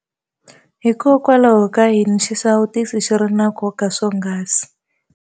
Hikokwalaho ka yini xisawutisi xi ri na nkoka swonghasi?